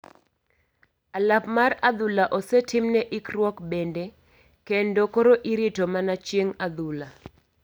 Alap mar adhula osetimne ikruok bende kendo koro irito mana chieng adhula.